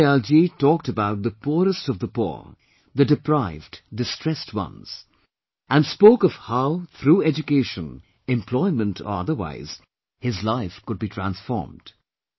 Deen Dayalji talked about the poorest of the poor the deprived, distressed ones and spoke of how, through education, employment or otherwise his life could be transformed